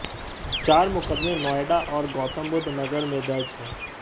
चार मुकदमे नोएडा और गौतमबुद्ध नगर में दर्ज हैं